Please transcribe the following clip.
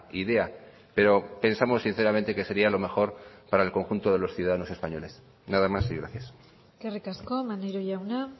idea pero pensamos sinceramente que sería lo mejor para el conjunto de los ciudadanos españoles nada más y gracias eskerrik asko maneiro jauna